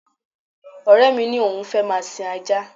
Ọ̀rẹ́ mi ni òun fẹ́ máa sin ajá